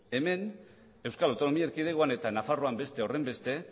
hemen euskal autonomia erkidegoan eta nafarroan beste horrenbeste